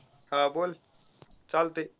हा बोल चालतय.